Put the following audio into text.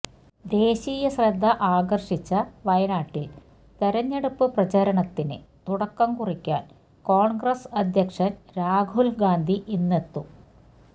ദേശീയ ശ്രദ്ധ ആകർഷിച്ച വയനാട്ടിൽ തെരഞ്ഞെടുപ്പ് പ്രചരണത്തിന് തുടക്കംകുറിക്കാൻ കോൺഗ്രസ് അധ്യക്ഷൻ രാഹുൽ ഗാന്ധി ഇന്നെത്തും